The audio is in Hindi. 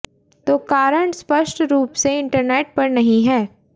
तो कारण स्पष्ट रूप से इंटरनेट पर नहीं है